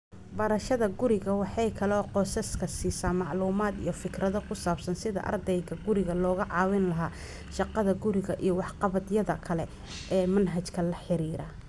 Barashada guriga waxay kaloo qoysaska siisaa macluumaad iyo fikrado ku saabsan sidii ardayda guriga looga caawin lahaa shaqada-guri iyo waxqabadyada kale ee manhajka la xiriira.